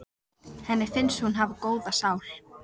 Henni finnst hún hafa góða sál.